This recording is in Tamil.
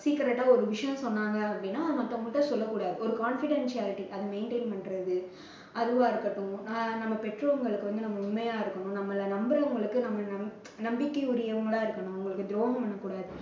secret ஆ ஒரு விஷயம் சொன்னாங்க அப்படின்னா அதை மத்தவங்ககிட்ட சொல்லக் கூடாது ஒரு confidentiality அதை maintain பண்றது அதுவா இருக்கட்டும், அஹ் நம்ம பெற்றோர்களுக்கு வந்து நம்ம உண்மையா இருக்கணும் நம்பளை நம்புறவங்களுக்கு நம்ம நம்பிக்கை உடையவங்களா இருக்கணும். அவங்களுக்கு துரோகம் பண்ண கூடாது